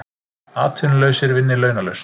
Atvinnulausir vinni launalaust